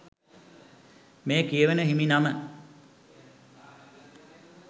මේ කියවෙන හිමිනම